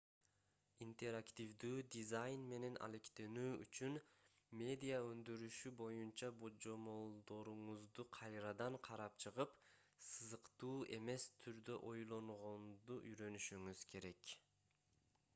интерактивдүү дизайн менен алектенүү үчүн медиа өндүрүшү боюнча божомолдоруңузду кайрадан карап чыгып сызыктуу эмес түрдө ойлонгонду үйрөнүшүңүз керек